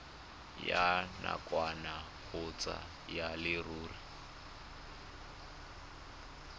ya nakwana kgotsa ya leruri